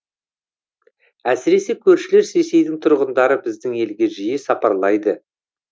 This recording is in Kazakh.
әсіресе көршілес ресейдің тұрғындары біздің елге жиі сапарлайды